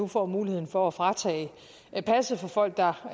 får muligheden for at fratage passet fra folk der